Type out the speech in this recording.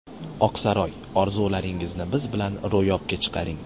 Oq saroy – Orzularingizni biz bilan ro‘yobga chiqaring.